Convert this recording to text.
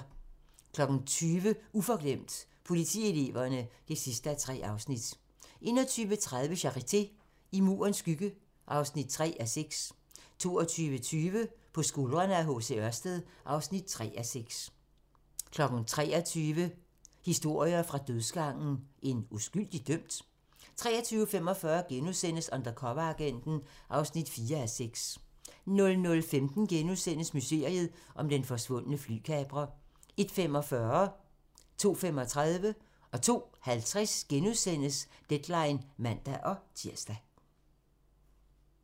20:00: Uforglemt: Politieleverne (3:3) 21:30: Charité – I Murens skygge (3:6) 22:20: På skuldrene af H. C. Ørsted (3:6) 23:00: Historier fra dødsgangen – En uskyldig dømt? 23:45: Undercoveragenten (4:6)* 00:15: Mysteriet om den forsvundne flykaprer * 01:45: Deadline *(man-tir) 02:15: Deadline *(man-tir) 02:50: Deadline *(man-tir)